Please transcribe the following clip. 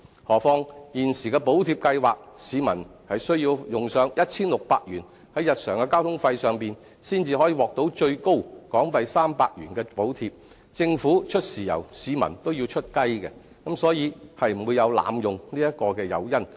何況，就現時的補貼計劃，市民須花上 1,600 元於日常交通費上，才可獲最高港幣300元的補貼，政府出"豉油"，市民也要出"雞"，所以不會有濫用的誘因。